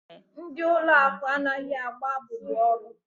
Ndị ụlọ akụ anaghị agba abubu ọrụ.